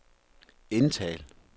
indtal